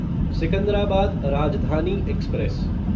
Secunderabad Rajdhani express